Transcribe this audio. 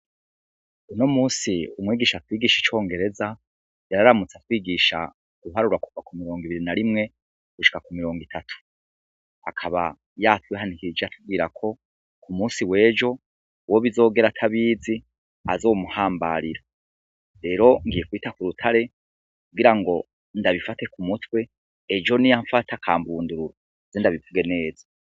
Uno musi umwigisha atwigisha icongereza yararamutsa atwigisha guharura kuva ku mirongo ibiri na rimwe gushika ku mirongo itatu akaba ya twihanikije atubwira ko ku musi wejo uwo bizogera atabizi azomuhambarira rero ngiye kwita ku rutare kugira ngo ndabifate ku mutwe ejo ni yamfata akambundurura ze ndabivuge neza.